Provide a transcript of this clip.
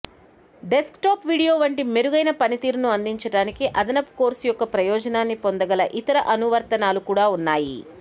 desktop video వంటి మెరుగైన పనితీరును అందించడానికి అదనపు కోర్స్ యొక్క ప్రయోజనాన్ని పొందగల ఇతర అనువర్తనాలు కూడా ఉన్నాయి